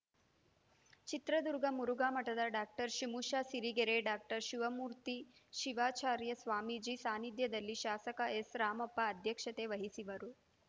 ಚಿತ್ರದುರ್ಗ ಮುರುಘಾ ಮಠದ doctor ಶಿಮುಶ Sirigere doctor Shivamurthy Shivacharya Swamiji ಸಾನಿಧ್ಯದಲ್ಲಿ ಶಾಸಕ ಎಸ್‌ರಾಮಪ್ಪ ಅಧ್ಯಕ್ಷತೆ ವಹಿಸುವರು